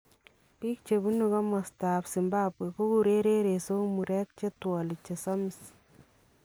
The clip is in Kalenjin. Biik chebunu komatab Zimbabwe kokureen reresook , mureek chetwalii chesamiis